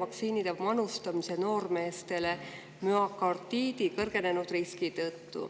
vaktsiinide manustamise noormeestele müokardiidi kõrgenenud riski tõttu.